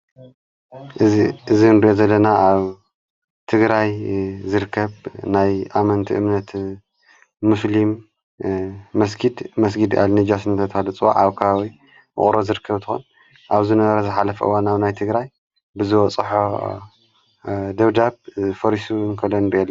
እዝ እንዶ ዘለና ኣብ ትግራይ ዝርከብ ናይ ኣመንቲ እምነት ሙስልም መስኪድ መስጊድ ኣልነጃስነተታልፅዋ ኣውካዊ ምቑሮ ዘርከብትሆን ኣብዝ ነበር ዝኃለፍዋናብ ናይ ትግራይ ብዝ ፀሖ ደውዳብ ፈሪሱ እንኮለን በለ።